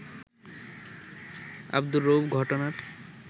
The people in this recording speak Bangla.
আব্দুর রউফ ঘটনার